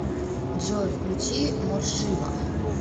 джой включи моршиба